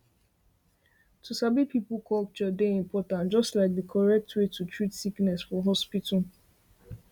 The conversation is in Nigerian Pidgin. to sabi people culture dey important just like di correct way to treat sickness for hospital